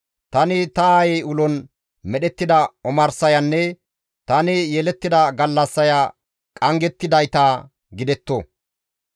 «Tani ta aayey ulon medhettida omarsayanne tani yelettida gallassaya qanggettidayta gidetto!